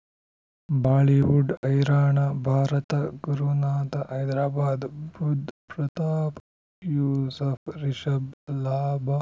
Bollywood ಹೈರಾಣ ಭಾರತ ಗುರುನಾಥ ಹೈದರಾಬಾದ್ ಬುಧ್ ಪ್ರತಾಪ್ ಯೂಸುಫ್ ರಿಷಬ್ ಲಾಭ